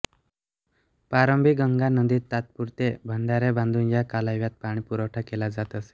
प्रारंभी गंगा नदीत तात्पुरते बंधारे बांधून या कालव्यात पाणीपुरवठा केला जात असे